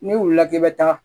N'i wulila k'i bɛ taa